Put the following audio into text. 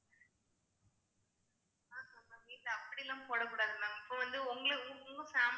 ma'am நீங்க அப்படி எல்லாம் போடக் கூடாது ma'am இப்ப வந்து உங்களை உங்க family ல